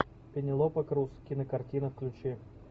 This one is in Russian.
пенелопа крус кинокартина включи